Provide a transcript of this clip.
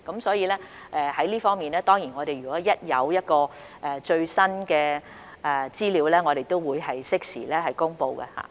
所以，在這方面，我們若有最新資料，當然會適時公布。